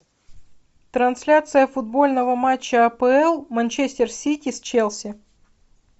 трансляция футбольного матча апл манчестер сити с челси